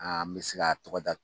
An mi se ka tɔgɔ da